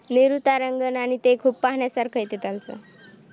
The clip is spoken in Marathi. नेहरू तारांगण आणि ते खूप पाहण्यासारखा आहे तिथं आमचं